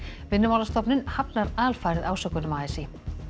Vinnumálastofnun hafnar alfarið ásökunum a s í